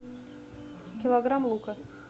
килограмм лука